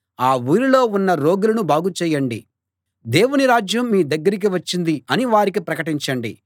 ఆ ఊరిలో ఉన్న రోగులను బాగు చేయండి దేవుని రాజ్యం మీ దగ్గరికి వచ్చింది అని వారికి ప్రకటించండి